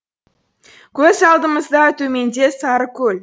көз алдымызда төменде сарыкөл